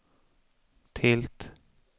tilt